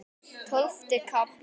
Tólfti kafli